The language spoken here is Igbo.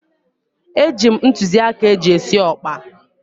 Eji m ntụzịaka eji esi ọkpa.